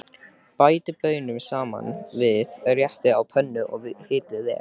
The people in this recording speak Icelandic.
Bætið baununum saman við réttinn á pönnunni og hitið vel.